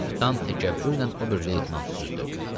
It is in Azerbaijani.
Kapitan təkəbbürlə ober-leytenantı süzdü.